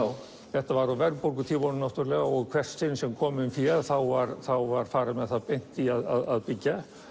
þetta var á verðbólgutímunum náttúrulega og í hvert sinn sem kom inn fé var var farið með það beint í að byggja